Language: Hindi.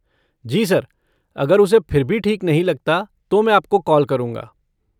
जी सर, अगर उसे फिर भी ठीक नहीं लगता तो मैं आपको कॉल करूँगा।